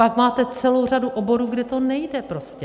Pak máte celou řadu oborů, kde to nejde prostě.